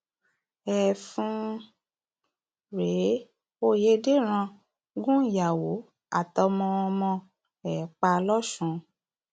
ẹfun um rèé ọyédèrán gun ìyàwó àtọmọọmọ um ẹ pa lọsùn